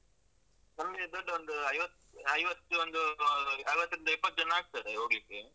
ನಮ್ಗೆ ದೊಡ್ಡ ಒಂದು ಐವತ್~ ಐವತ್ತು ಒಂದು, ಅರ್ವತ್ತರಿಂದ ಎಪ್ಪತ್ತು ಜನ ಆಗ್ತಾರೆ ಹೋಗ್ಲಿಕ್ಕೆ.